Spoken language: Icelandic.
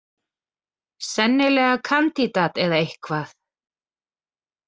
Sennilega kandídat eða eitthvað.